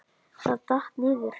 Það datt. niður.